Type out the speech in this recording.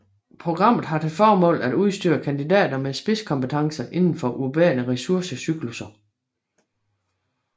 Programmet har til formål at udstyre kandidater med spidskompetencer indenfor urbane ressource cyklusser